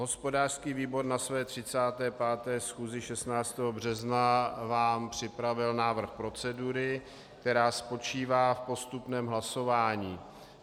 Hospodářský výbor na své 35. schůzi 16. března vám připravil návrh procedury, která spočívá v postupném hlasování.